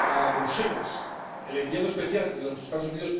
a Bruselas el enviado especial de los Estados Unidos